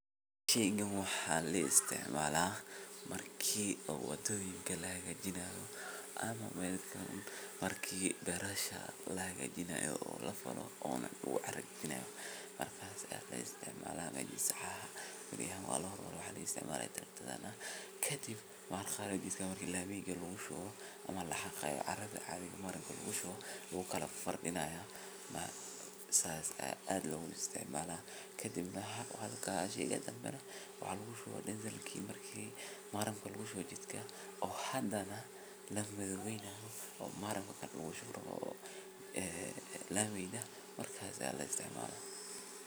tiinga wax listacmala ah markii u wadaa laaga jinaayo ama markii barasha laaga jinaayo oo la fano owno wa jinaayo. Markaa si aad la isticmaalaa mayd saacado, waa la isticmaalo darato danbe. Kadib, markii la miyay ugu shoo, ama la xaqi doono cariga marinka hore uu ka lafaray inaanay saas u isticmaalo. Kadibna wax ka tami karin wax u guusho dhan janaki markii maaran ku guusho jidka. Oo hadana la mid wayn ah oo maaran la guusho la miyda markaa si aad la isticmaalo.